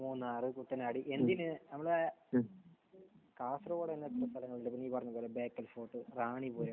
മൂന്നാർ, കുട്ടനാട്, എന്നീ നമ്മൾ കാസർഗോഡ് എല്ലാം സ്ഥലങ്ങളില്ലേ. ഇപ്പോൾ നീ പറഞ്ഞത് പോലെ ബേക്കൽ ഫോർട്ട്, റാണിപുരം.